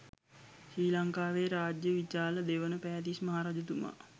ශ්‍රී ලංකාවේ රාජ්‍ය විචාල දෙවන පෑතිස් මහරජතුමා